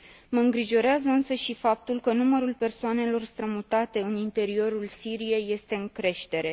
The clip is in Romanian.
Mă îngrijorează însă și faptul că numărul persoanelor strămutate în interiorul Siriei este în creștere.